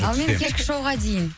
ал мен кешкі шоуға дейін